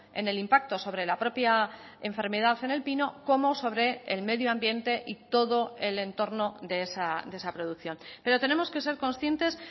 en el impacto sobre la propia enfermedad en el pino como sobre el medio ambiente y todo el entorno de esa producción pero tenemos que ser conscientes